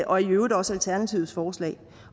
og i øvrigt også alternativets forslag